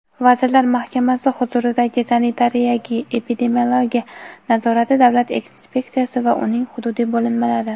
Vazirlar Mahkamasi huzuridagi Sanitariya-epidemiologiya nazorati davlat inspeksiyasi va uning hududiy bo‘linmalari;.